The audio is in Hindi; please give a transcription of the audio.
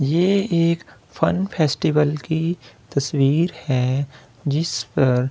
यह एक फन फेस्टिवल की तस्वीर है जिस पर लोग।